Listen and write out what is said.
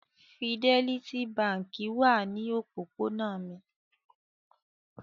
Fidelity Báńkì kan wà ní òpópónà mi.